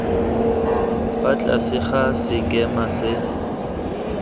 fa tlase ga sekema sa